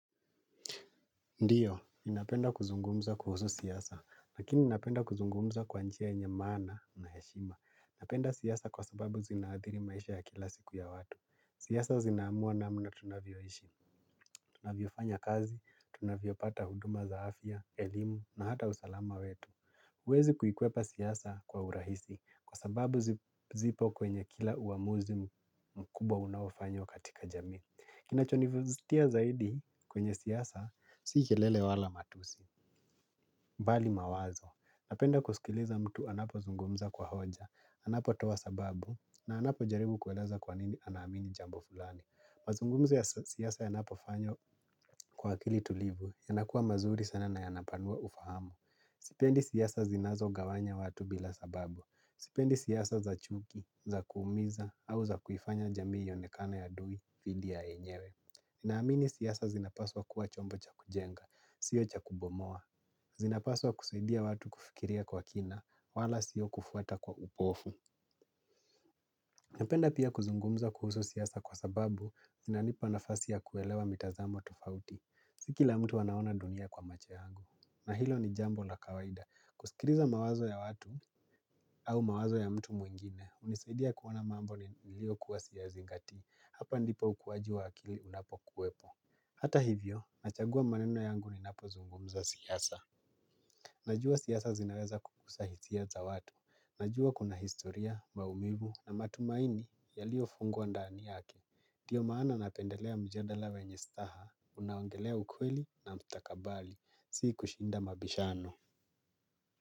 Ndiyo, ninapenda kuzungumza kuhusu siasa, lakini napenda kuzungumza kwa njia yenye maana na heshima. Napenda siasa kwa sababu zinaadhiri maisha ya kila siku ya watu. Siasa zinaamua namna tunavyoishi, tunavyo fanya kazi, tunavyo pata huduma za afya, elimu na hata usalama wetu. Huwezi kuikweoa siasa kwa urahisi kwa sababu zipo kwenye kila uamuzi mkubwa unaofanywa katika jamii. Kinacho nivuzitia zaidi kwenye siasa, si kelele wala matusi, mbali mawazo. Napenda kusikiliza mtu anapo zungumza kwa hoja, anapo toa sababu, na anapo jaribu kueleza kwa nini anamini jambo fulani. Mazungumzo siasa yanapo fanywa kwa akili tulivu, yanakua mazuri sana na yanapanua ufahamu. Sipendi siyasa zinazo gawanya watu bila sababu. Sipendi siasa za chuki, za kuumiza, au za kuifanya jamii ionekana ya adui, dhidi ya enyewe. Naamini siasa zinapaswa kuwa chombo cha kujenga, sio cha kubomoa. Zinapaswa kusaidia watu kufikiria kwa kina, wala sio kufuata kwa upofu. Napenda pia kuzungumza kuhusu siasa kwa sababu, zinanipa nafasi ya kuelewa mitazamo tufauti. Sikila mtu anaona dunia kwa macho yangu. Na hilo ni jambo la kawaida, kusikiriza mawazo ya watu au mawazo ya mtu mwingine hunisaidia kuona mambo ni lio kuwa siyazingatii. Hapa ndipo ukuaji wa akili unapo kuwepo. Hata hivyo nachagua maneno yangu ni napo zungumza siasa. Najua siasa zinaweza kukusa hisia za watu. Najua kuna historia maumivu na matumaini yalio fungwa ndani yaki Diyo maana napendelea mjandala wenye staha. Unaongelea ukweli na mtakabali sii kushinda mabishano.